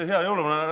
Hea jõuluvana!